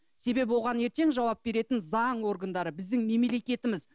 себебі оған ертең жауап беретін заң органдары біздің мемлекетіміз